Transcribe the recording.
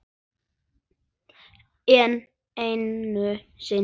Enn einu sinni.